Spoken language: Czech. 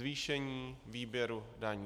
Zvýšení výběru daní.